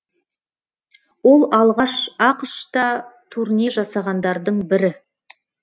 ол алғаш ақш та турне жасағандардың бірі